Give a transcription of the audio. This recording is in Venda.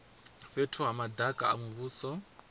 fhethu ha madaka a muvhuso